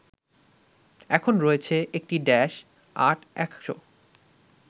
এখন রয়েছে একটি ড্যাশ-৮ ১০০